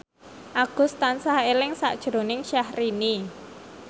Agus tansah eling sakjroning Syahrini